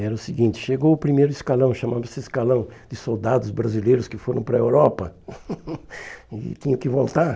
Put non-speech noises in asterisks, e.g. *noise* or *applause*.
Era o seguinte, chegou o primeiro escalão, chamava-se escalão de soldados brasileiros que foram para a Europa *laughs* e tinham que voltar.